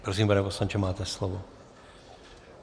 Prosím, pane poslanče, máte slovo.